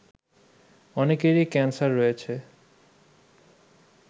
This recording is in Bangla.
অনেকেরই ক্যান্সার রয়েছে